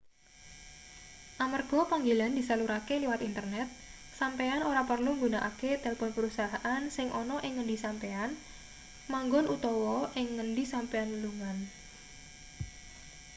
amarga panggilan disalurake liwat internet sampeyan ora perlu nggunakake telpon perusahaan sing ana ing ngendi sampeyan manggon utawa ing ngendi sampeyan lelungan